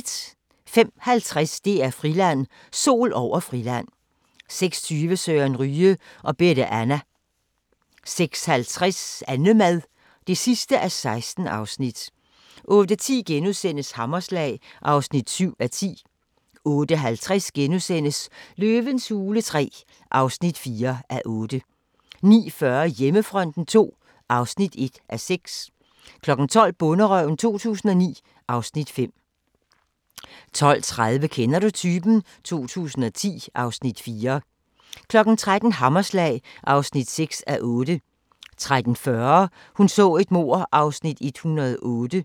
05:50: DR-Friland: Sol over Friland 06:20: Søren Ryge og Bette Anna 06:50: Annemad (16:16) 08:10: Hammerslag (7:10)* 08:50: Løvens hule III (4:8)* 09:40: Hjemmefronten II (1:6) 12:00: Bonderøven 2009 (Afs. 5) 12:30: Kender du typen? 2010 (Afs. 4) 13:00: Hammerslag (6:8) 13:40: Hun så et mord (108:268)